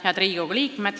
Head Riigikogu liikmed!